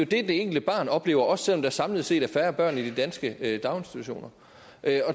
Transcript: det det enkelte barn oplever også selv om der samlet set er færre børn i de danske daginstitutioner